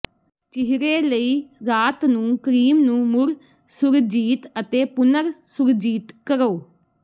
ਚਿਹਰੇ ਲਈ ਰਾਤ ਨੂੰ ਕ੍ਰੀਮ ਨੂੰ ਮੁੜ ਸੁਰਜੀਤ ਅਤੇ ਪੁਨਰ ਸੁਰਜੀਤ ਕਰੋ